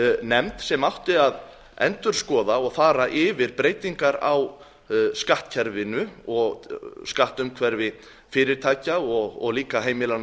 nefnd sem átti að endurskoða og fara yfir breytingar á skattkerfinu og skattumhverfi fyrirtækja og líka heimilanna í